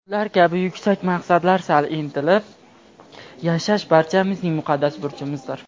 ular kabi yuksak maqsadlar sari intilib yashash barchamizning muqaddas burchimizdir.